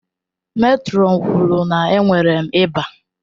Mètrọn kwuru na enwere m ịba.